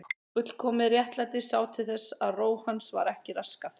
Fullkomið réttlæti sá til þess að ró hans var ekki raskað.